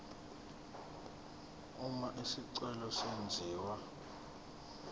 uma isicelo senziwa